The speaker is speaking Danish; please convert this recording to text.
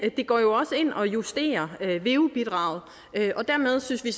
det går jo også ind og justerer veu bidraget og dermed synes vi